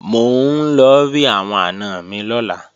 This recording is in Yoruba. Mò ń lọ rí àwọn àna mi lọ́la